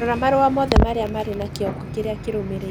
Rora marũa mothe marĩa marĩ na kĩongo kĩrĩa kĩrũmĩrĩire